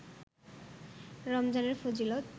রমজানের ফজিলত